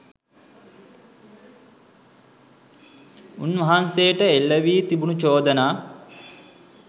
උන්වහන්සේට එල්ල වී තිබුණු චෝදනා